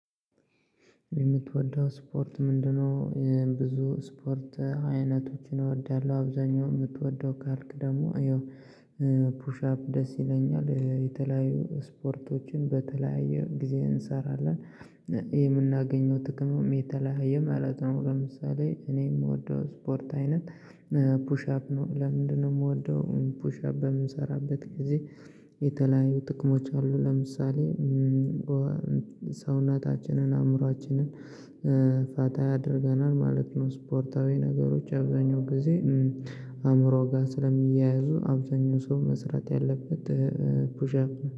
የምትወደው ስፖርት ምንድነው? ይህ ብዙ ስፖርት አይነቶችን እወዳለሁ። አብዛኛው የምትወደው ካልክ ደግሞ ይኸው ፑሽ አፕ ደስ ይለኛል። የተለያዩ ስፖርቶችን በተለያየ ጊዜ እንሰራለን የምናገኘው ጥቅምም የተለያየ ማለት ነው። ለምሳሌ እኔ የምወደው ስፖርት አይነት ፑሽ አፕ ነው። ለምንድነው የምወደው? ፑሽ አፕ በምንሰራበት ጊዜ የተለያዩ ጥቅሞች አሉ። ለምሳሌ ሰውናታችንን አእምሮአችንን ፋታ ያደርገናል ማለት ነው። ስፖርታዊ ነገሮች አብዛኛው ጊዜ አእምሮው ጋር ስለሚያያዙ አብዛኛው ሰው መስራት ያለበት። ፑሽ አፕ